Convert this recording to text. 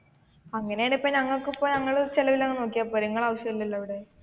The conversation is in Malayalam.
അങ്ങനെയാണെങ്കിൽ ഇപ്പൊ ഞങ്ങളുടെ ചിലവിൽ തന്നെ നോക്കിയാപ്പോരേ നിങ്ങളുടെ ആവശ്യം ഇല്ലല്ലോ ഇവിടെ